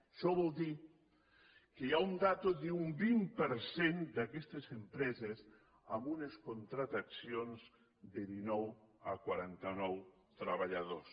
això vol dir que hi ha una dada d’un vint per cent d’aquestes empreses amb unes contractacions de dinou a quaranta nou treballadors